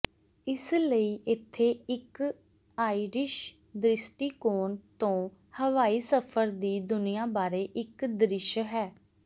ਇਸ ਲਈ ਇੱਥੇ ਇੱਕ ਆਇਰਿਸ਼ ਦ੍ਰਿਸ਼ਟੀਕੋਣ ਤੋਂ ਹਵਾਈ ਸਫ਼ਰ ਦੀ ਦੁਨੀਆ ਬਾਰੇ ਇੱਕ ਦ੍ਰਿਸ਼ ਹੈ